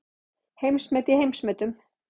Heimsmet í heimsmetum